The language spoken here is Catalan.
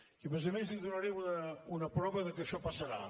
i a més a més li donaré una prova que això passarà